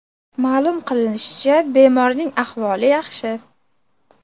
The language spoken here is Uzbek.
Ma’lum qilinishicha bemorning ahvoli yaxshi.